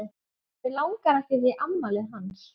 Mig langar ekkert í afmælið hans.